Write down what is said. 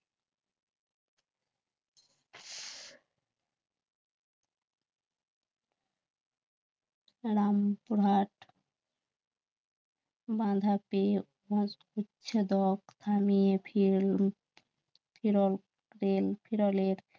রামপুরহাট বাঁধা পেয়ে উচ্ছেদ